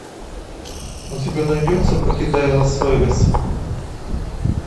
у тебя найдется покидая лас вегас